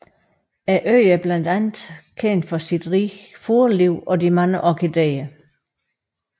Øen er blandt andet kendt for sit rige fugleliv og de mange orkidéer